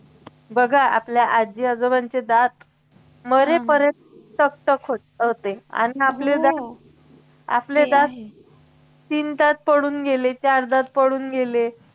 बघा आपल्या आजी आजोबांचे दात मरेपर्यंत फक्त घट्ट होते आणि आपले दात आपले दात तीन दात पडून गेले चार दात पडून गेले